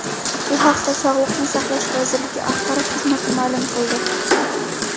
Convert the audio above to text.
Bu haqda Sog‘liqni saqlash vazirligi axborot xizmati ma’lum qildi .